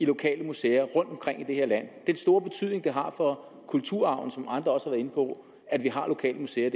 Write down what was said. lokale museer rundtomkring i det her land den store betydning det har for kulturarven som andre også har været inde på at vi har lokale museer